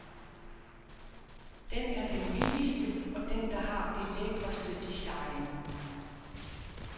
Den er den billigste og den, der har det lækreste design.